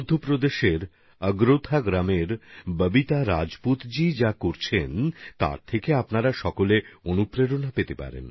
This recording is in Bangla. মধ্যপ্রদেশের অগরোথা গ্রামের ববিতা রাজপুতজিও যা করছেন তাতে আপনারা সবাই অনুপ্রাণিত হবেন